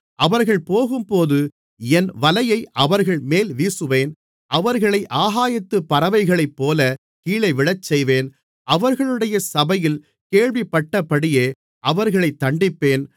அவர்கள் போகும்போது என் வலையை அவர்கள்மேல் வீசுவேன் அவர்களை ஆகாயத்துப் பறவைகளைப்போல கீழே விழச்செய்வேன் அவர்களுடைய சபையில் கேள்விப்பட்டபடியே அவர்களைத் தண்டிப்பேன்